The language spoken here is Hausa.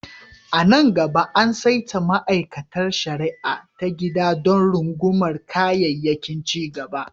A nan gaba, an saita ma'aikatar shari'a ta gida don rungumar kayayyakin cigaba.